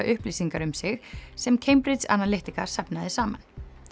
upplýsingar um sig sem Cambridge Analytica safnaði saman